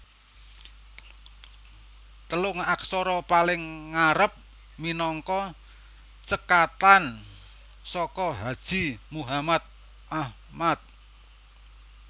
Telung aksara paling ngarep minangka cekakan saka Haji Muhammad Ahmad